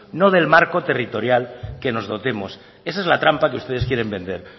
no del marco territorial que nos dotemos esa es la trampa que ustedes quieren vender